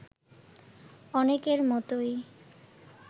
অনেকের মতোই